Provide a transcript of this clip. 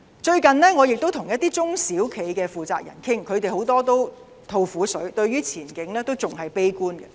最近我跟一些中小型企業負責人傾談，他們很多都大吐苦水，對前景感到悲觀。